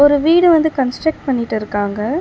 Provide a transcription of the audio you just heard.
ஒரு வீடு வந்து கன்ஸ்ட்ரக்ட் பண்ணிட்டிருக்காங்க.